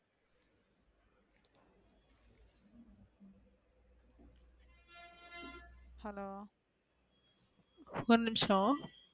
hello ஒரு நிமிஷம்.